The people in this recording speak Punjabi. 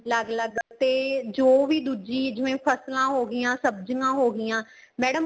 ਅਲੱਗ ਅਲੱਗ ਤੇ ਜੋ ਵੀ ਦੂਜੀ ਜਿਵੇਂ ਫ਼ਸਲਾਂ ਹੋ ਗਈਆਂ ਸਬਜੀਆਂ ਹੋ ਗਈਆਂ madam